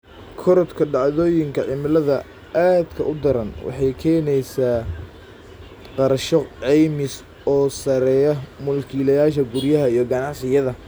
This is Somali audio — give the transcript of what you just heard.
Korodhka dhacdooyinka cimilada aadka u daran waxay keenaysaa kharashyo caymis oo sarreeya mulkiilayaasha guryaha iyo ganacsiyada.